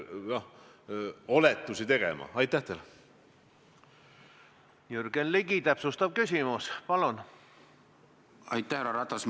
Ma olen temaga ka rääkinud ja ta on kinnitanud, et prokuratuur ei algata poliitiliselt motiveeritud kriminaalasju.